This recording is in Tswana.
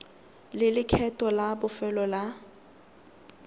le lekgetho la bofelo la